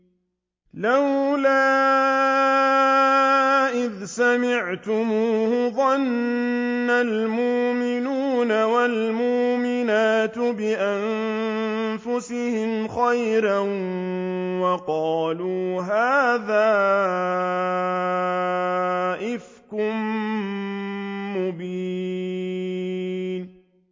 لَّوْلَا إِذْ سَمِعْتُمُوهُ ظَنَّ الْمُؤْمِنُونَ وَالْمُؤْمِنَاتُ بِأَنفُسِهِمْ خَيْرًا وَقَالُوا هَٰذَا إِفْكٌ مُّبِينٌ